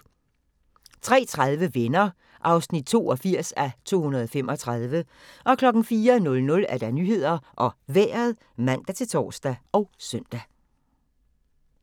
03:30: Venner (82:235) 04:00: Nyhederne og Vejret (man-tor og søn)